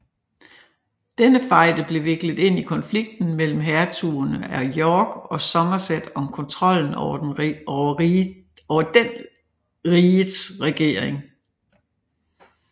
Denne fejde blev viklet ind i konflikten mellem hertugerne af York og Somerset om kontrollen over den rigets regering